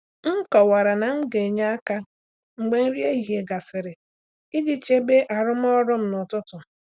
M kọwara na m ga-enye aka mgbe nri ehihie gasịrị iji chebe arụmọrụ m n’ụtụtụ.